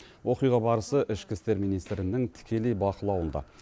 оқиға барысы ішкі істер министрінің тікелей бақылауында